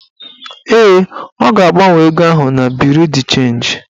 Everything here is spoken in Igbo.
Ee, ọ ga-agbanwe ego ahụ na buru chenji